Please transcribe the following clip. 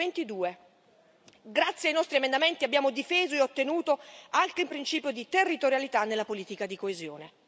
322. Grazie ai nostri emendamenti abbiamo difeso e ottenuto anche il principio di territorialità nella politica di coesione.